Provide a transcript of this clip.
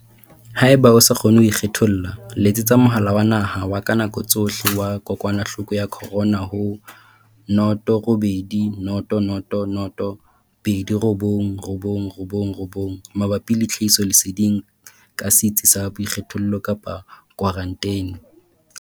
Haeba o sa kgone ho ikgetholla, letsetsa Mohala wa Naha wa ka Nako Tsohle wa Kokwanahloko ya Corona ho noto robedi noto noto noto pedi robong robong robong robong mabapi le tlhahisoleseding ka setsi sa boikgethollo kapa khwaranteni.